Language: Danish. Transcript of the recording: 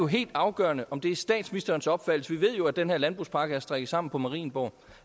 helt afgørende om det er statsministerens opfattelse vi ved jo at den her landbrugspakke er strikket sammen på marienborg